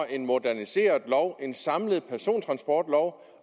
en moderniseret lov en samlet persontransportlov